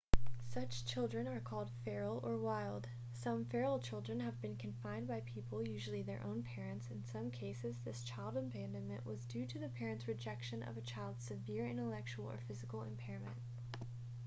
such children are called feral or wild. some feral children have been confined by people usually their own parents; in some cases this child abandonment was due to the parents' rejection of a child's severe intellectual or physical impairment